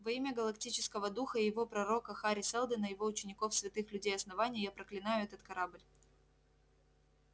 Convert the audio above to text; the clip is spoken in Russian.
во имя галактического духа и его пророка хари сэлдона его учеников святых людей основания я проклинаю этот корабль